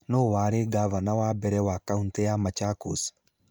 Nũũ warĩ ngavana wa mbere wa kaunti ya Machakos?